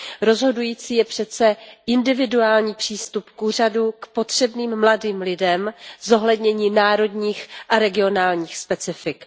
Rozhodující je přece individuální přístup úřadu k potřebným mladým lidem, zohlednění národních a regionálních specifik.